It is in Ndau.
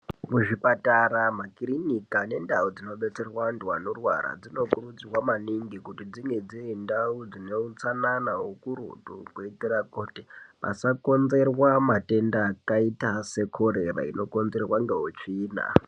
Ku zvipatara ma kirinika ne ndau dzino detserwe antu ano rwara dzino kurudzirwa maningi kuti dzinge dziri ndau zvine utsanana ukurutu kuitira kuti pasa konzerwa matenda akaita se korera ino konzerwa nge utsvina.